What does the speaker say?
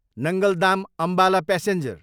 Nangal dam, Ambala passenger